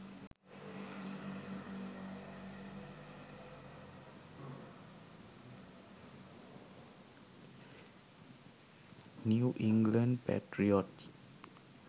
new england patriots